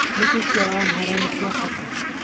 Nĩkĩ kĩa Amhara nĩ kĩa bata?